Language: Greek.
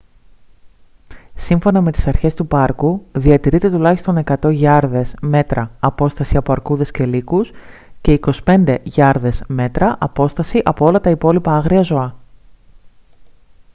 σύμφωνα με τις αρχές του πάρκου διατηρείτε τουλάχιστον 100 γιάρδες/μέτρα απόσταση από αρκούδες και λύκους και 25 γιάρδες/μέτρα απόσταση από όλα τα υπόλοιπα άγρια ζώα!